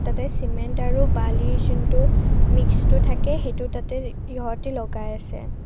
ইয়াতে চিমেণ্ট আৰু বালিৰ যোনটো মিক্সটো থাকে সেইটো তাতে সিহঁতে লগাই আছে।